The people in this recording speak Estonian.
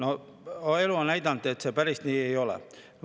Aga elu on näidanud, et see päris nii ei ole.